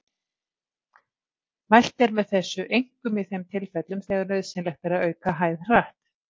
Mælt er með þessu einkum í þeim tilfellum þegar nauðsynlegt er að auka hæð hratt.